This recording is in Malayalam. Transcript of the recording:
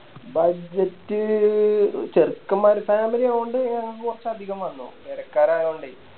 Budget ചേർക്കൻമ്മാർ Family ആയകൊണ്ട് കൊറച്ചതികം വന്നു കെടക്കാറായകൊണ്ടേ